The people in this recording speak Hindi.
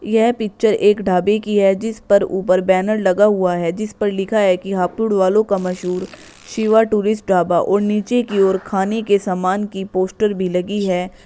यह पिक्चर एक ढाबे की है जिसपर ऊपर बैनर लगा हुआ है जिसपर लिखा है कि हापुड़ वालों का मशहूर शिवा टूरिस्ट ढाबा और नीचे की ओर खाने के सामान की भी लगी है।